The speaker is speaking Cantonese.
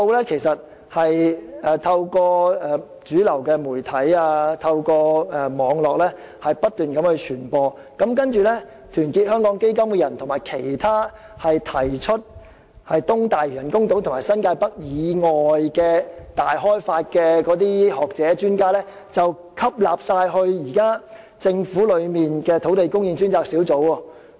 這些數字不斷透過主流媒體和網絡傳播，然後團結香港基金的成員，以及其他提出在發展東大嶼都會和新界北以外進行大開發的學者和專家，均被吸納加入政府的土地供應專責小組。